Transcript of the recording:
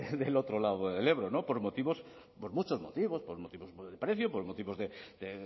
del otro lado del ebro por muchos motivos por motivos del precio por motivos de